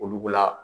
Olu la